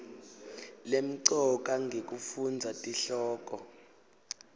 lemcoka ngekufundza tihloko